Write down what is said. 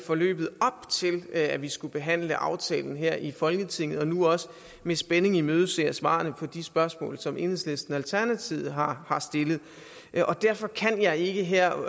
i forløbet op til at vi skulle behandle aftalen her i folketinget og nu også med spænding imødeser svarene på de spørgsmål som enhedslisten og alternativet har stillet derfor kan jeg ikke her og